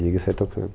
Liga e sai tocando.